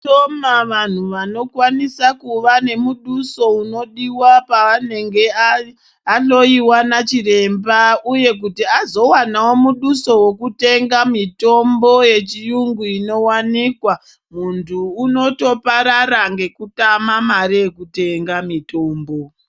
Vashoma vantu vanokwanisa kuva nemuduso unodiwa pavanenge ahloiwa nachiremba uye kuti azowanawo muduso wekutenga mitombo yechiyungu inowanikwa. Muntu unotoparara ngekutama mare yekutenga mitombo.